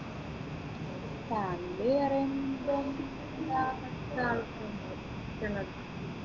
family പറയുമ്പം ആഹ്